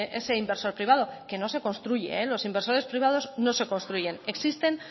ese inversor privado que no se construye los inversores privados no se construyen existen